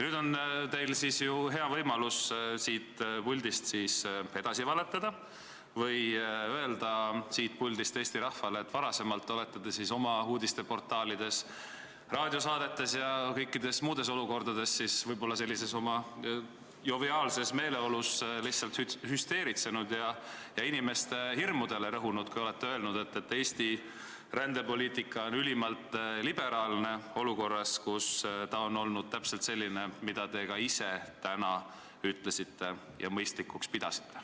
Nüüd on teil hea võimalus siit puldist edasi valetada või öelda siit Eesti rahvale, et varem olete te oma uudiste portaalides, raadiosaadetes ja kõikides muudes olukordades võib-olla sellises joviaalses meeleolus lihtsalt hüsteeritsenud ja inimeste hirmudele rõhunud, kui olete öelnud, et Eesti rändepoliitika on ülimalt liberaalne, olukorras, kus ta on olnud täpselt selline, mida te ka ise täna mõistlikuks pidasite.